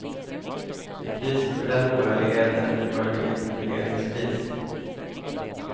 Priset för den oärligheten blir möjligen en regeringskris.